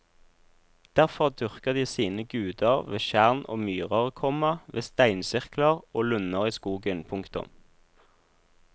Derfor dyrker de sine guder ved tjern og myrer, komma ved steinsirkler og lunder i skogen. punktum